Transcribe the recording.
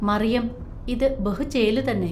മറിയം. ഇതു ബഹു ചേലു തന്നെ.